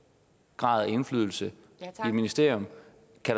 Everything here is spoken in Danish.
grad af indflydelse i et ministerium